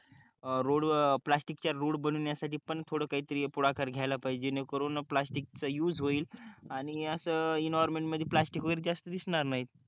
road प्लास्टिकच्या road बनवण्यासाठी थोडं काहीतरी पुढाकार घ्यायला पाहिजे जेणेकरून प्लास्टिकच्या युज होईल आणि असे एन्व्हायरमेंट मध्ये प्लास्टिक वगैरे जास्त दिसणार नाही